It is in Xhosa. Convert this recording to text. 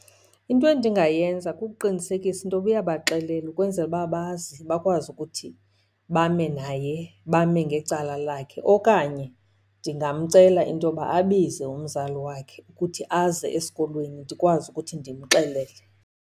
Into endingayenza kukuqinisekisa into yoba uyabaxelela ukwenzela uba bazi, bakwazi ukuthi bame naye bame ngecala lakhe. Okanye ndingamcela into yoba abize umzali wakhe ukuthi aze esikolweni ndikwazi ukuthi ndimxelele.